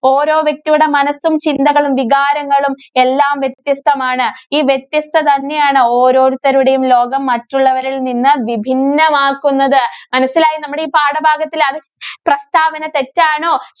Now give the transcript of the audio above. ഓരോ വ്യക്തിയുടെ മനസ്സും, ചിന്തകളും, വികാരങ്ങളും എല്ലാം വ്യത്യസ്തമാണ്. ഈ വ്യത്യസ്തത തന്നെയാണ് ഓരോത്തരുടെയും ലോകം മറ്റുള്ളവരില്‍ നിന്ന് വിഭിന്നമാക്കുന്നത് മനസ്സിലായോ നമ്മുടെ ഈ പാഠഭാഗത്തില്‍ അത് പ്രസ്താവന തെറ്റാണോ?